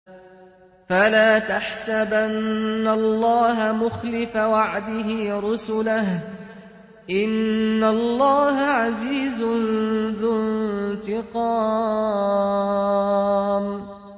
فَلَا تَحْسَبَنَّ اللَّهَ مُخْلِفَ وَعْدِهِ رُسُلَهُ ۗ إِنَّ اللَّهَ عَزِيزٌ ذُو انتِقَامٍ